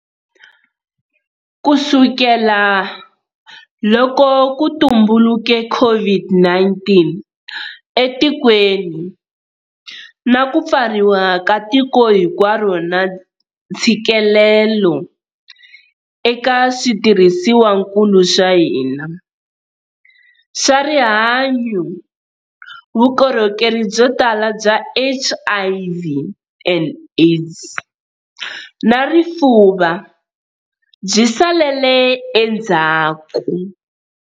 Kusukela loko ku tumbuluke COVID-19 etikweni, na ku pfariwa ka tiko hinkwaro na ntshikelelo eka switirhisiwankulu swa hina swa rihanyu, vukorhokeri byo tala bya HIV and AIDS na rifuva byi salele endzhaku.